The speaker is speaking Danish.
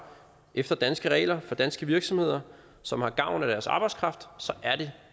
efter danske regler for danske virksomheder som har gavn af deres arbejdskraft så er det